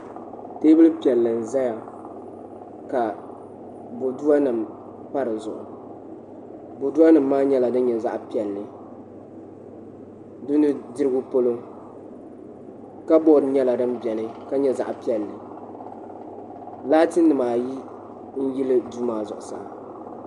Teebuli piɛlli n ʒɛya ka boduwa nim pa dizuɣu boduwa nim maa nyɛla din nyɛ zaɣ piɛlli di nudirigu polo kabood nyɛla din biɛni ka nyɛ zaɣ piɛlli laati nim ayi n yili duu maa zuɣusaa